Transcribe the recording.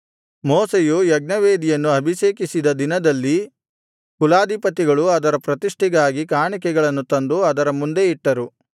ಮೋಶೆಯು ಯಜ್ಞವೇದಿಯನ್ನು ಅಭಿಷೇಕಿಸಿದ ದಿನದಲ್ಲಿ ಕುಲಾಧಿಪತಿಗಳು ಅದರ ಪ್ರತಿಷ್ಠೆಗಾಗಿ ಕಾಣಿಕೆಗಳನ್ನು ತಂದು ಅದರ ಮುಂದೆ ಇಟ್ಟರು